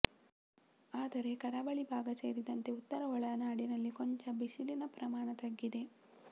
ಆದರೆ ಕರಾವಳಿ ಭಾಗ ಸೇರಿದಂತೆ ಉತ್ತರ ಒಳನಾಡಿನಲ್ಲಿ ಕೊಂಚ ಬಿಸಿಲಿನ ಪ್ರಮಾಣ ತಗ್ಗಿದೆ